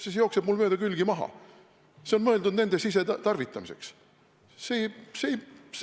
See jookseb mul mööda külgi maha, see on mõeldud nende sisetarvitamiseks.